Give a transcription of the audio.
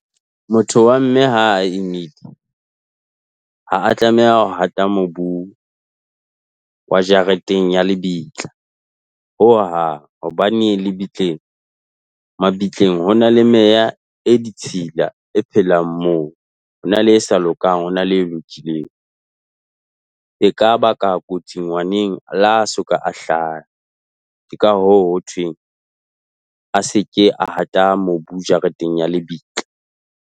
Motho wa mme ha a imile ha a tlameha ho hata mobu wa jareteng ya lebitla, ho hang. Hobane lebitleng mabitleng ho na le meya e ditshila e phelang moo. Ho na le e sa lokang, ho na le e lokileng. E ka baka kotsi ngwaneng le ha a soka a hlaha. Ke ka hoo hothweng a se ke a hata mobu jareteng ya lebitla.